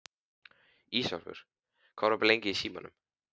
Ísólfur, hvað er opið lengi í Símanum?